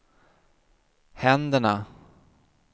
händerna